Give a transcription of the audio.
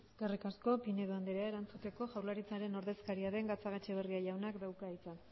eskerrik asko pinedo andrea erantzuteko jaurlaritzaren ordezkaria den gatzagaetxebarria jaunak dauka hitza